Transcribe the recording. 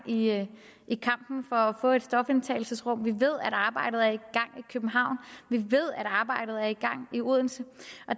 i kampen for at få et stofindtagelsesrum vi ved at arbejdet er i københavn vi ved at arbejdet er i gang i odense